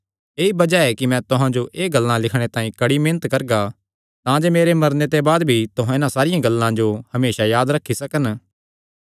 ऐई बज़ाह ऐ कि मैं तुहां जो एह़ गल्लां लिखणे तांई कड़ी मेहनत करगा तांजे मेरे मरने दे बाद भी तुहां इन्हां सारियां गल्लां जो हमेसा याद रखी सकन